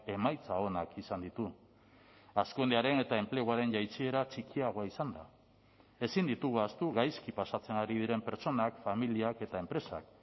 emaitza onak izan ditu hazkundearen eta enpleguaren jaitsiera txikiagoa izanda ezin ditugu ahaztu gaizki pasatzen ari diren pertsonak familiak eta enpresak